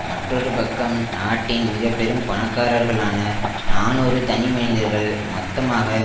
மற்றொரு பக்கம் நாட்டின் மிக பெரும் பணக்காரர்களான நாநூறு தனிமனிதர்கள் மொத்தமாக